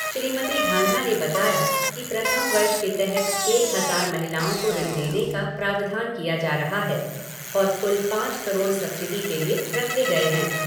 श्रीमती ढांडा ने बताया कि प्रथम वर्ष के तहत एक हज़ार महिलाओं को ऋण देने का प्रावधान किया जा रहा है और कुल पाँच करोड़ सबसिडि के लिये रखे गए है।